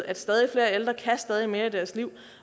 at stadig flere ældre kan stadig mere i deres liv